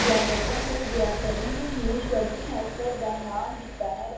ਵਿਆਗਰਤਾ ਨੂੰ ਵਿਆਕਰਨ ਨੂੰ ਸ਼ਬਦ ਸ਼ਾਸ਼ਤਰ ਦਾ ਨਾਮ ਦਿੱਤਾ ਹੈ।